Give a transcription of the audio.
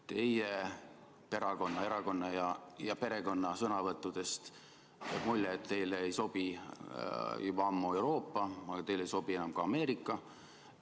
Teie, teie erakonna ja perekonna sõnavõttudest jääb mulje, et teile ei sobi juba ammu Euroopa, aga teile ei sobi enam ka Ameerika.